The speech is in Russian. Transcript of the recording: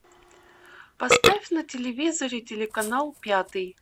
поставь на телевизоре телеканал пятый